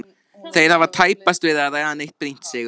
Þeir hafa tæpast verið að ræða neitt brýnt Sigurður minn.